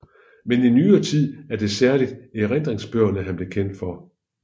Men i nyere tid er det særligt erindringsbøgerne han blev kendt for